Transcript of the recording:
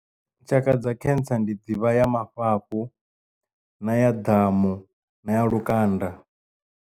Tshaka dza khentsa ndi ḓivha ya mafhafhu na ya damu na ya lukanda.